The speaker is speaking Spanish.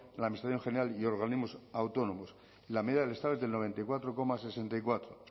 la administración general y organismos autónomos la media del estado es del noventa y cuatro coma sesenta y cuatro